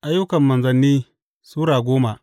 Ayyukan Manzanni Sura goma